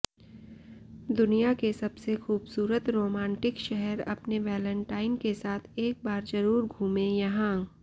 दुनिया के सबसे खूबसूरत रोमांटिक शहर अपने वैलेंटाइन के साथ एक बार जरूर घूमें यहां